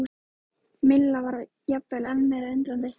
Milla var jafnvel enn meira undrandi.